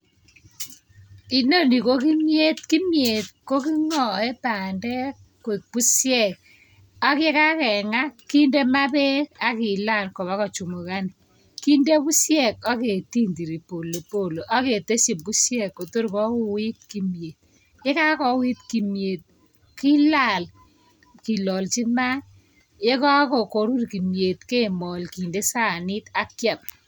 Inoni ko kimiet, kimiet ko kemoe bandek koek bushek ak ye kakenga kinde maa beek ak kilal kobo kochamukan kinde bushek ak ketui polepole ak keteshi bushek kotur kouit, ye kakouit kimyet kilal kilalji maat ye kakorur kimyet kemolji sanik ak kiam.